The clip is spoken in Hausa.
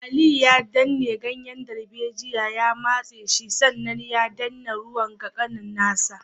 Aliyu ya danne ganyen darbejiya ya matse shi sannan ya danna ruwan ga kanin nasa